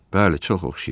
Bəli, çox oxşayır.